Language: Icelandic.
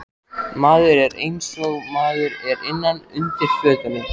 Maður er einsog maður er innan undir fötunum.